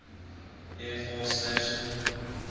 air force station